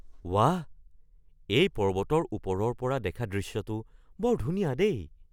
ৱাহ! এই পৰ্বতৰ ওপৰৰ পৰা দেখা দৃশ্যটো বৰ ধুনীয়া দেই!